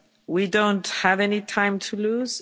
We don't have any time to lose.